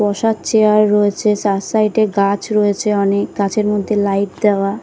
বসার চেয়ার রয়েছে চার সাইড -এ গাছ রয়েছে অনেক গাছের মধ্যে লাইট দেওয়া।